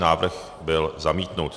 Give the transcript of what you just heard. Návrh byl zamítnut.